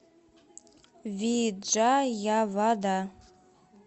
виджаявада